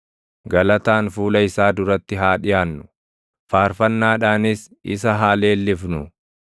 Galataan fuula isaa duratti haa dhiʼaannu; faarfannaadhaanis isa haa leellifnu.